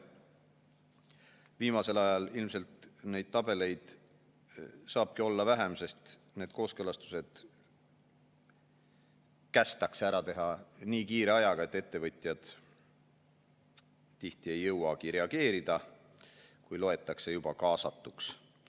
Viimasel ajal ilmselt neid tabeleid saabki olla vähem, sest need kooskõlastused kästakse ära teha nii kiire ajaga, et ettevõtjad tihti ei jõua reageerida, kui loetakse juba kaasatuks.